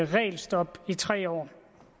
regelstop i tre år